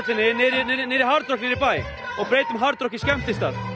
niður í bæ þið